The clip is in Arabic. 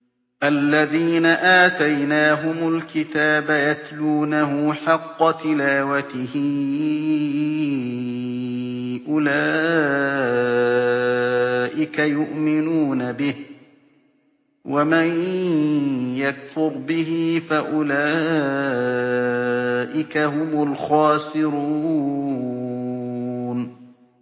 الَّذِينَ آتَيْنَاهُمُ الْكِتَابَ يَتْلُونَهُ حَقَّ تِلَاوَتِهِ أُولَٰئِكَ يُؤْمِنُونَ بِهِ ۗ وَمَن يَكْفُرْ بِهِ فَأُولَٰئِكَ هُمُ الْخَاسِرُونَ